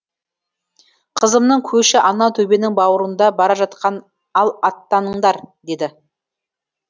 қызымның көші анау төбенің бауырында бара жатқан ал аттаныңдар деді